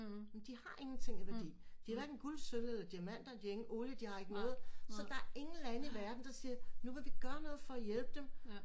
De har ingenting af værdi de har hverken guld sølv eller diamanter de har ingen olie de har ikke noget så der er ingen lande i verden der siger nu vil vi gøre noget for at hjælpe dem